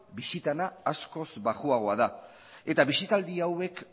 bisitena askoz baxuagoa da eta bisitaldi hauek